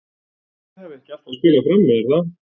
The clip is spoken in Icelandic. Þið hafið ekki alltaf spilað frammi er það?